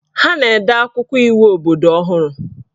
Ha na-ede akwụkwọ iwu obodo ọhụrụ